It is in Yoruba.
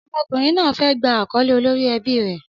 Ọmọkùnrin náà fẹ́ gba àkọ́lé olórí ẹbí rẹ̀.